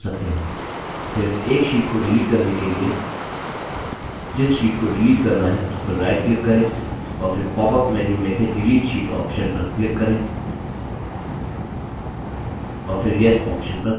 सिर्फ एक sheets को डिलीट करने के लिए जिस sheets को डिलीट करना है उस पर right click करें और फिर popअप menu में से delete sheet option पर click करें और फिर yes option पर click करें